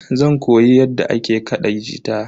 Zan koyi yadda ake kaɗa gita.